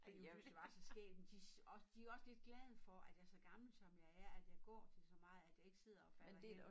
Fordi hun synes det var så skægt men de og de jo også lidt glade for at jeg så gammel som jeg er at jeg så går til så meget at jeg ikke sidder og falder hen